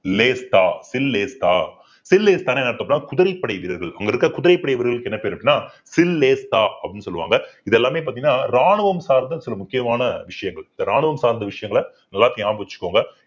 என்னன்னு பார்த்தோம்ன்னா குதிரைப் படை வீரர்கள் அங்க இருக்கிற குதிரைப்படை வீரர்களுக்கு என்ன பேரு அப்படின்னா அப்படின்னு சொல்லுவாங்க இது எல்லாமே பார்த்தீங்கன்னா ராணுவம் சார்ந்த சில முக்கியமான விஷயங்கள் இந்த ராணுவம் சார்ந்த விஷயங்களை எல்லாத்தையும் ஞாபகம் வச்சுக்கோங்க